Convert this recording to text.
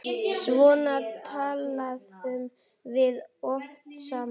Svona töluðum við oft saman.